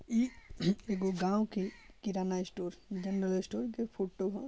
ई एगो गांव के किराना स्टोर जनरल स्टोर के फोटो है।